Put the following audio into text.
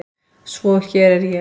Svo hér er ég.